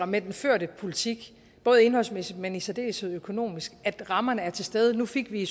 med den førte politik kan både indholdsmæssigt men i særdeleshed økonomisk at rammerne er til stede nu fik vi